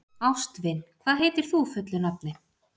Ástvin, hvað heitir þú fullu nafni?